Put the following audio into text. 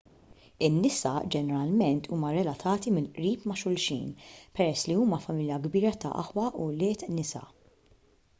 in-nisa ġeneralment huma relatati mill-qrib ma' xulxin peress li huma familja kbira ta' aħwa u wlied nisa